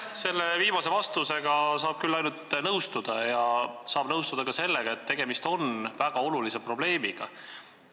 Selle viimase vastusega saab küll ainult nõustuda ja saab nõustuda ka sellega, et tegemist on väga olulise probleemiga.